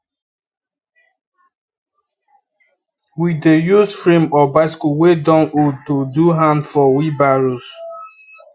we dey use frame of bicycle wey don old to do hand for wheelbarrows